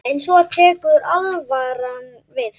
En svo tekur alvaran við.